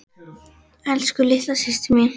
Elsku litla systir mín.